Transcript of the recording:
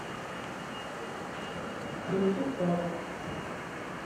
включи статус